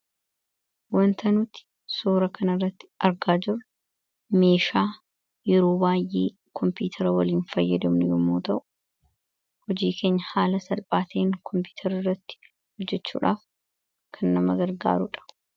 wantanuuti suura kana irratti argaa jiru meeshaa yeroo baay'ee koompiyutara waliin fayyadamnu yomoo ta'u hojii kenya haala salphaateen koompiutara irratti hojjechuudhaaf kan nama gargaaruudha